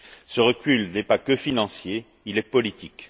Ce recul n'est pas que financier, il est politique.